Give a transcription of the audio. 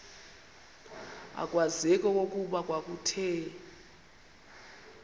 akwazeki okokuba kwakuthe